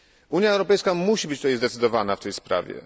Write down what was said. Unia Europejska musi być zdecydowana w tej sprawie.